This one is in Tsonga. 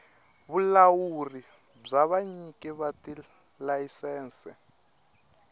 vulawuri bya vanyiki va tilayisense